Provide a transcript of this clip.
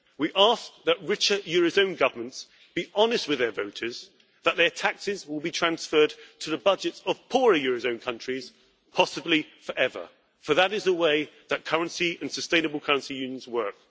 We ask that richer eurozone governments be honest with their voters that their taxes will be transferred to the budgets of poorer eurozone countries, possibly forever, for that is the way that currency and sustainable currency unions work.